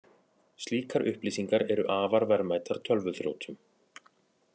Slíkar upplýsingar eru afar verðmætar tölvuþrjótum